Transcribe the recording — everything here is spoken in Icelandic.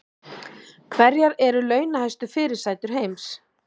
Hverjar eru launahæstu fyrirsætur heims